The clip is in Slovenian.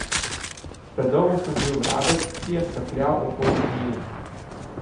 Predolgo sem bil vrabec, ki je skakljal okoli hijen.